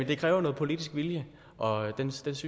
det kræver noget politisk vilje og den synes